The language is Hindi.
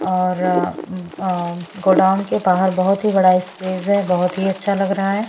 और अ गोडाउन के बाहर बहोत ही बड़ा स्पेस है बहोत ही अच्छा लग रहा है।